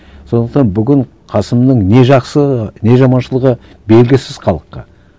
сондықтан бүгін қасымның не жақсы не жаманшылығы белгісіз халыққа